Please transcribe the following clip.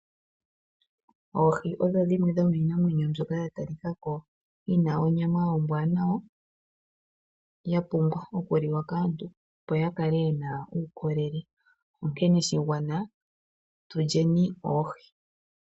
Oohi odho dhimwe dhomiinamwenyo mbyoka ya talika ko yina onyama ombwaanawa, ya pumbwa oku liwa kaantu opo ya kale yena uukolele onkene shigwana tulyeni oohi.